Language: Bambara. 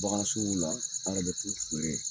an yɛrɛ bɛ t'u